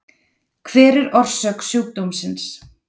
Hver er orsök sjúkdómsins?